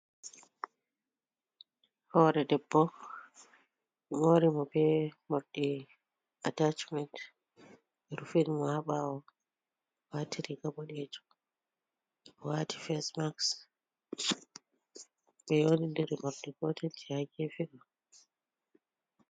Hore ɗeɓɓo ɓe mori mo ɓe morɗi attachment ɓe rufin mo ha ɓawo ,wati riga ɓoɗejum o wati facemaks ɓe yeundiri morɗi gotel je ha gefe ɗo.